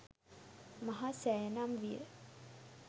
මහා සෑය නම් විය.